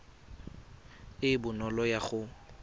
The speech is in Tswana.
e e bonolo ya go